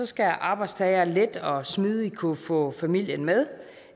skal arbejdstagere let og smidigt kunne få familien med